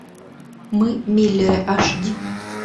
мы миллеры аш ди